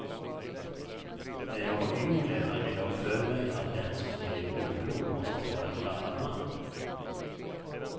När jag var yngre hade jag för mig att den som blir morbror måste vara en gammal man.